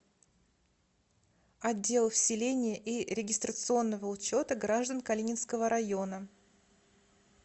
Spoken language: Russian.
отдел вселения и регистрационного учета граждан калининского района